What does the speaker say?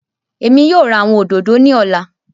Emi yóò ra awọn ododo ni ọla.